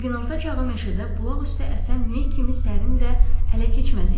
O günorta çağı meşədə bulaq üstü əsən meh kimi sərin və ələkeçməz idi.